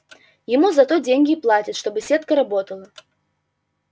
ему за то деньги и платят чтобы сетка работала